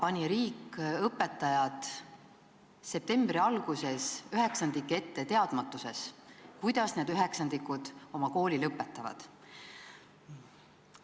Ent tänavu septembri alguses pani riik õpetajad üheksandike ette teadmatuses, kuidas need üheksandikud kooli lõpetavad.